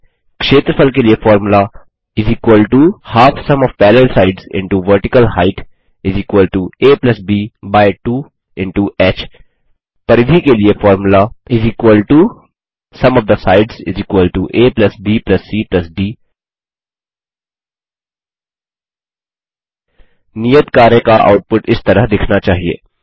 क्षेत्रफल के लिए फॉर्मूला aब2 ह परिधि के लिए फॉर्मूला abcडी नियत कार्य का आउटपुट इस तरह दिखना चाहिए